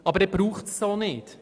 Dann braucht es sie auch nicht.